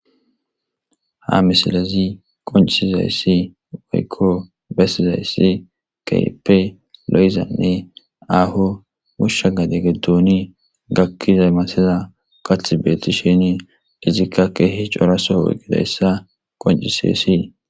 ha misilezi qoncisizayssi woykko bessizayssi kehippe lo7izanne aho hushsha ga deggeduuni gakkiza maseza qath beeti sheni izikka keehi coraso weqidayssa qoncisessi